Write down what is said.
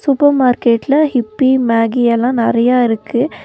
Super மார்க்கெட்ல இப்பி மேகியெல்லா நறைய இருக்கு.